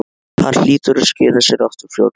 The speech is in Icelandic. Hann hlýtur að skila sér aftur fljótlega